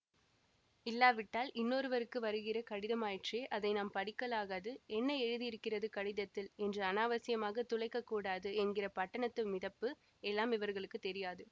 இல்லாவிட்டால் இன்னொருவருக்கு வருகிற கடிதமாயிற்றே அதை நாம் படிக்கலாகாது என்ன எழுதியிருக்கிறது கடிதத்தில் என்று அநாவசியமாக துளைக்கக் கூடாது என்கிற பட்டணத்து மிதப்பு எல்லாம் இவர்களுக்குத் தெரியாது